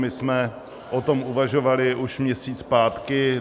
My jsme o tom uvažovali už měsíc zpátky.